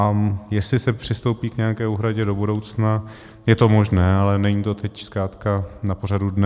A jestli se přistoupí k nějaké úhradě do budoucna, je to možné, ale není to teď zkrátka na pořadu dne.